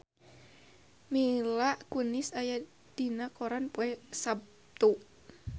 Mila Kunis aya dina koran poe Saptu